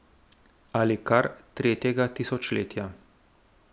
Ali kar tretjega tisočletja.